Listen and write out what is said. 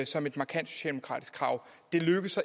som et markant socialdemokratisk krav det lykkes